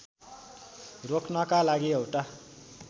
रोक्नका लागि एउटा